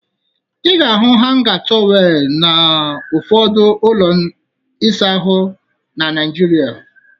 Ị ga-ahụ hanga tọweelụ n'ụfọdụ ụlọ ịsa ahụ na Naịjirịa